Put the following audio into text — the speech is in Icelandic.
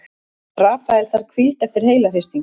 Rafael þarf hvíld eftir heilahristing